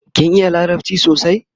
kin iya larabci sosai?